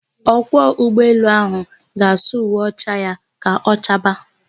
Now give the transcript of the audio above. Ọkwọ ụgbọelu áhụ̀ ga-asụ uwe ọcha ya ka ọ chaa baa.